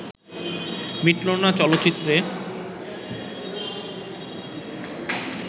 মিটলো না চলচ্চিত্রে